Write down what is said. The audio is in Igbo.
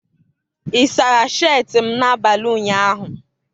ị sara sheetị m n'abalị ụnyaahụ?